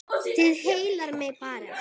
Það heillar mig bara.